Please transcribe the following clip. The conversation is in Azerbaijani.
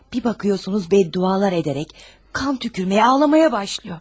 Bir baxırsınız bəd duzlar edərək qan tüpürməyə, ağlamağa başlayır.